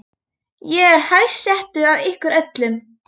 Ég er hæst settur af ykkur öllum!